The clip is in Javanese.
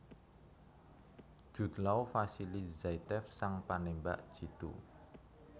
Jude Law Vasily Zaitsev sang panémbak jitu